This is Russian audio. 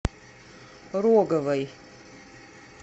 роговой